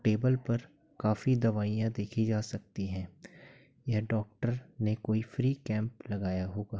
Table पर काफी दवाइयां देखी जा सकती हैं या डॉक्टर ने कोई फ्री कैंप लगाया होगा।